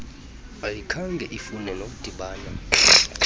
ayikhange ifune nokudibana